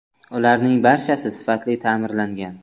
Ularning barchasi sifatli ta’mirlangan.